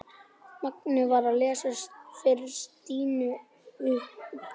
Mangi var að lesa fyrir Stínu upp úr